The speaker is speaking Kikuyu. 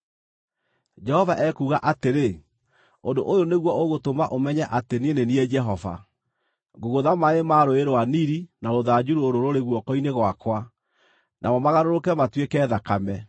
Jehova ekuuga atĩrĩ: Ũndũ ũyũ nĩguo ũgũtũma ũmenye atĩ niĩ nĩ niĩ Jehova: Ngũgũtha maaĩ ma Rũũĩ rwa Nili na rũthanju rũrũ rũrĩ guoko-inĩ gwakwa, namo magarũrũke matuĩke thakame.